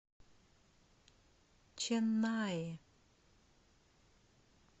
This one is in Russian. ченнаи